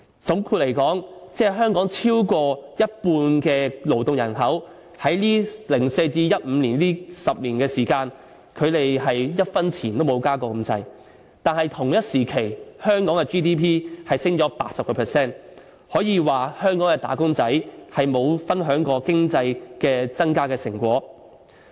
總括而言，香港超過一半的勞動人口的工資，在2004年至2015年的10年內，差不多一分錢也沒有增加過，但同時，香港的 GDP 卻上升了 80%， 可說香港的"打工仔"並沒有分享過經濟增長的成果。